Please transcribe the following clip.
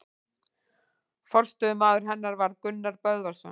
Forstöðumaður hennar varð Gunnar Böðvarsson.